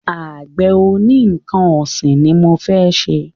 Àgbẹ̀ oní nnkan ọ̀sìn ni mọ fẹ́ ṣe.